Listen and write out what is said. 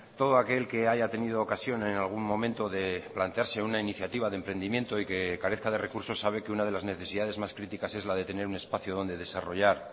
todo aquel que haya tenido ocasión en algún momento de plantearse una iniciativa de emprendimiento y que carezca de recursos sabe que una de las necesidades más críticas es la de tener un espacio donde desarrollar